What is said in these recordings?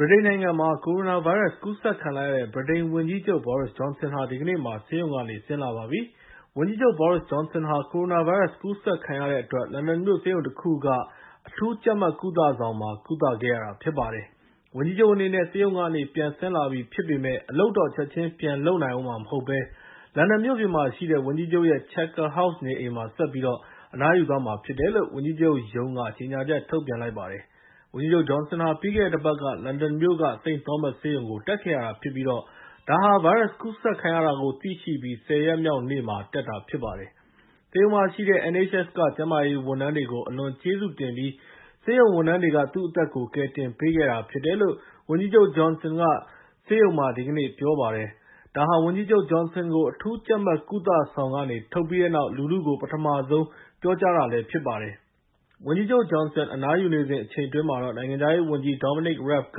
ဗြိတိန်နိုင်ငံမှာ ကိုရိုနာဗိုင်းရပ်စ် ကူးစက်ခံလိုက်ရတဲ့ ဗြိတိန်ဝန်ကြီးချုပ် Boris Johnson ဟာ ဒီကနေ့မှာ ဆေးရုံကနေ ဆင်းလာပါပြီ။ ဝန်ကြီးချုပ် Boris Johnson ဟာ ကိုရိုနာဗိုင်းရပ်စ် ကူးစက်ခံခဲ့ရတဲ့အတွက် လန်ဒန်မြို့ ဆေးရုံတခုက အရေးပေါ်လူနာတွေကိုထားတဲ့ အထူးကြပ်မတ် ကုသဆောင်မှာ ကုသခဲ့ရတာ ဖြစ်ပါတယ်။ ဝန်ကြီးချုပ်အနေနဲ့ ဆေးရုံကနေ ပြန်ဆင်းလာပြီဖြစ်ပေမယ့် အလုပ်တော့ ချက်ချင်းပြန်လုပ်ဦးမှာမဟုတ်ဘဲ လန်ဒန်မြို့ပြင်မှာရှိတဲ့ ဝန်ကြီးချုပ်ရဲ့ Chequers House နေအိမ်မှာ ဆက်ပြီးတော့ အနားယူသွားမှာဖြစ်တယ်လို့ ဝန်ကြီးချုပ်ရုံးက ကြေညာချက် ထုတ်ပြန်လိုက်ပါတယ်။ ဝန်ကြီးချုပ် Johnson ဟာ ပြီးခဲ့တဲ့တပတ်က လန်ဒန်မြို့က St. Thomas ဆေးရုံကို တက်ခဲ့ရတာဖြစ်ပြီး ဒါဟာ ဗိုင်းရပ်စ်ကူးစက်ခံရတာကို သိရှိပြီး ၁၀ ရက်မြောက်နေ့မှာ တက်တာဖြစ်ပါတယ်။ ဆေးရုံမှာရှိတဲ့ NHS က ကျန်းမာရေးဌာန ဝန်ထမ်းတွေကို အလွန်ကျေးဇူးတင်ပြီး ဆေးရုံဝန်ထမ်းတွေက သူ့အသက်ကို ကယ်တင်ပေးခဲ့တာဖြစ်တယ်လို့ ဝန်ကြီးချုပ် Johnson က ဆေးရုံမှာ ဒီကနေ့ ပြောပါတယ်။ ဒါဟာ ဝန်ကြီးချုပ် Johnson ကို အထူးကြပ်မတ် ကုသဆောင်ကနေ ထုတ်ပြီးတဲ့နောက် လူထုကို ပထမဆုံး ပြောကြားတာဖြစ်ပါတယ်။ ဝန်ကြီးချုပ် Johnson အနားယူနေစဉ် အချိန်အတွင်းမှာတော့ နိုင်ငံခြားရေးဝန်ကြီး Dominic Raab က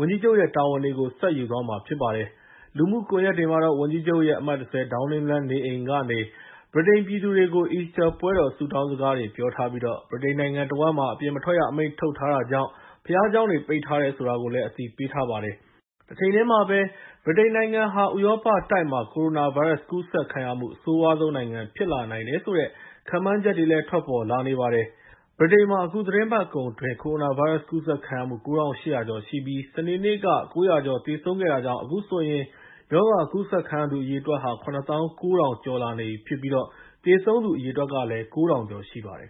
ဝန်ကြီးချုပ်ရဲ့ တာဝန်တွေကို ယူသွားမှာဖြစ်ပါတယ်။ လူမှုကွန်ရက်တွေမှာတော့ ဝန်ကြီးချုပ်ရဲ့ အမှတ် ၁၀ ဒေါင်းနင်းလမ်းနေအိမ်ကနေ ဗြိတိန်ပြည်သူတွေကို အီစတာပွဲတော် ဆုတောင်းစကားတွေ ပြောထားပြီး ဗြိတိန်နိုင်ငံတဝှမ်းမှာ အပြင်မထွက်ရအမိန့် ထုတ်ထားတာကြောင့် ဘုရားကျောင်းတွေ ပိတ်ထားတယ် ဆိုတာကိုလည်း အသိပေးထားပါတယ်။ တချိန်တည်းမှာပဲ ဗြိတိန်နိုင်ငံဟာ ဥရောပတိုက်မှာ ကိုရိုနာဗိုင်းရပ်စ် ကူးစက်ခံရမှု အဆိုးရွားဆုံးနိုင်ငံ ဖြစ်လာနိုင်တယ်ဆိုတဲ့ ခန့်မှန်းချက်တွေလည်း ထွက်ပေါ်လာနေပါတယ်။ ဗြိတိန်မှာ အခုသီတင်းပတ်ကုန်အတွင်း ကိုရိုနာဗိုင်းရပ်စ် ကူးစက်ခံရမှု ၉၈၀၀ ကျော်ရှိပြီး စနေနေ့က ၉၀၀ ကျော် သေဆုံးခဲ့တာကြောင့် အခုဆိုရင် ရောဂါကူးစက်ခံရသူ အရေအတွက်ဟာ ၇ သောင်း ၉ ထောင်ကျော်လာနေပြီး သေဆုံးသူ အရေအတွက် ၉ ထောင်ကျော်ရှိပါတယ်